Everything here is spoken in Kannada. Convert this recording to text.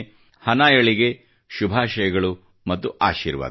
ಹನಾಯಳಿಗೆ ಶುಭಾಷಯಗಳು ಮತ್ತು ಆಶೀರ್ವಾದಗಳು